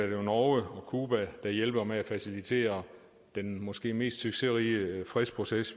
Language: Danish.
jo norge og cuba der hjælper med at facilitere den måske mest succesrige fredsproces